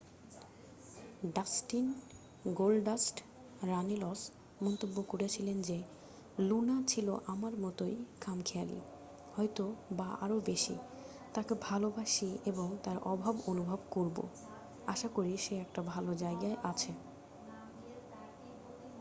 "Dustin "Goldust" Runnels মন্তব্য করেছিলেন যে "লুনা ছিল আমার মতোই খামখেয়ালি... হয়তো বা আরও বেশি... তাঁকে ভালোবাসি এবং তাঁর অভাব অনুভব করবো ... আশা করি সে একটা ভালো জায়গায় আছে।